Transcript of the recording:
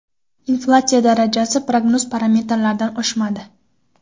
Inflyatsiya darajasi prognoz parametrlaridan oshmadi.